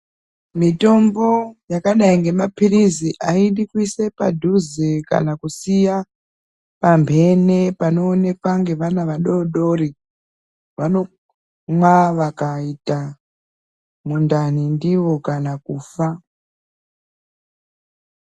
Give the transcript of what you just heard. Mitombo yakadai ngemaphirizi, aidi kuise padhuze kana kusiya , pamphene panonekwa ngevana vadodori. Vanomwa vakaita mundani ndiyo kana kufa.